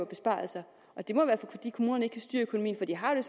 besparelser og det må være fordi kommunerne ikke kan styre økonomien for de har jo